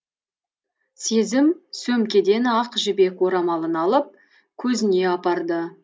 сезім сөмкеден ақ жібек орамалын алып көзіне апарды